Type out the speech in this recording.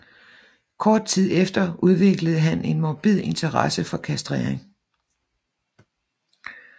Kort tid efter udviklede han en morbid interesse for kastrering